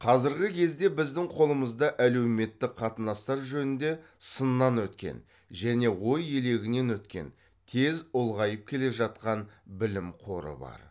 қазіргі кезде біздің қолымызда әлеуметтік қатынастар жөнінде сыннан өткен және ой елегінен өткен тез ұлғайып келе жатқан білім қоры бар